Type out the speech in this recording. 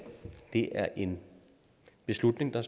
det er en beslutning der